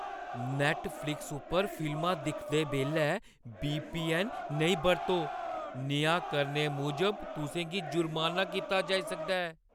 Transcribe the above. Netflix उप्पर फिल्मां दिखदे बेल्लै वीपीऐन्न नेईं बरतो। नेहा करने मूजब तुसें गी जुर्माना कीता जाई सकदा ऐ।